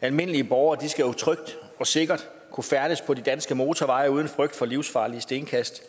almindelige borgere skal trygt og sikkert kunne færdes på de danske motorveje uden frygt for livsfarlige stenkast